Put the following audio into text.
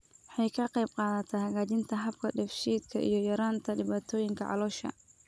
Waxay ka qaybqaadataa hagaajinta habka dheef-shiidka iyo yaraynta dhibaatooyinka caloosha.